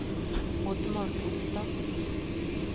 Oddmar Tronstad